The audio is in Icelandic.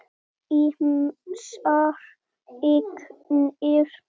Ýmsar eignir.